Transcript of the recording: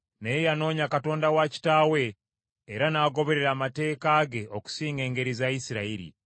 naye yanoonya Katonda wa kitaawe, era n’agoberera amateeka ge okusinga engeri za Isirayiri.